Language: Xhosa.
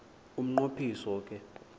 umnqo phiso ke